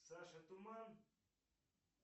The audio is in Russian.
саша туман